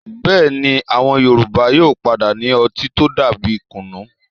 Bẹ́ẹ̀ni, àwọn Yorùbá yóò padà ní ọtí tó dàbí kùnnú.